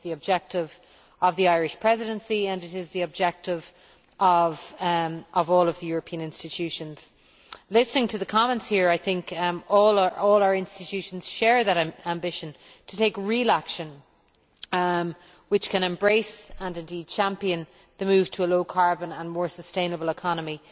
That is the objective of the Irish Presidency and it is the objective of all of the European institutions. Listening to the comments here, all our institutions share that ambition to take real action which can embrace, and indeed champion, the move to a low carbon and more sustainable economy.